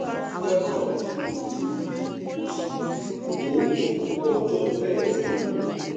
steroid tí kò léwu ni o sì lè lò ó fún ọjọ mẹẹdógún